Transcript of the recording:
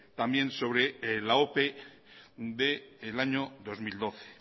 también sobre la ope del año dos mil doce